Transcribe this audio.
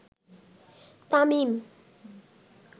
Tamim